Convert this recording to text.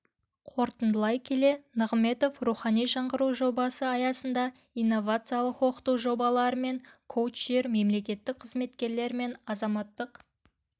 қорытындылай келе нығыметов рухани жаңғыру жобасы аясында инновациялық оқыту жобалары мен коучтер мемлекеттік қызметкерлер мен азаматтық